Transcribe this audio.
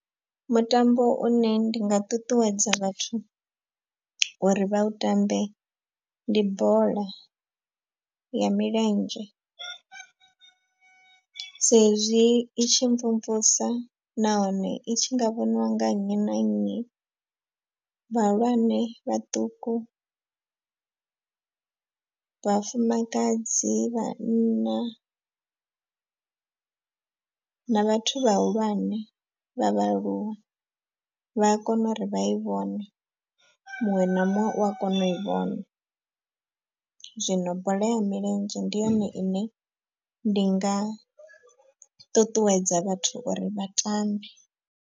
Mutambo une ndi nga ṱuṱuwedza vhathu uri vha u tambe ndi bola ya milenzhe. Sa izwi itshi mvumvusa nahone i tshi nga vhoniwa nga nnyi na nnyi vhahulwane, vhaṱuku, vhafumakadzi, vhanna na vhathu vhahulwane vha vhaaluwa vha a kona uri vha i vhone. Muṅwe na muṅwe u a kona u i vhona zwino bola ya milenzhe ndi yone ine ndi nga ṱuṱuwedza vhathu uri vha tambe.